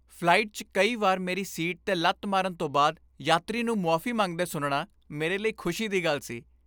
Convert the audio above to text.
Flight 'ਚ ਕਈ ਵਾਰ ਮੇਰੀ ਸੀਟ 'ਤੇ ਲੱਤ ਮਾਰਨ ਤੋਂ ਬਾਅਦ ਯਾਤਰੀ ਨੂੰ ਮੁਆਫ਼ੀ ਮੰਗਦੇ ਸੁਣਨਾ ਮੇਰੇ ਲਈ ਖ਼ੁਸ਼ੀ ਦੀ ਗੱਲ ਸੀ।